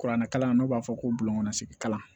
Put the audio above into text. Kuranɛkalan n'o b'a fɔ ko bulon kɔnɔ segin kalan